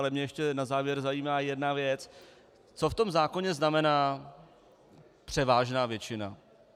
Ale mě ještě na závěr zajímá jedna věc - co v tom zákoně znamená převážná většina?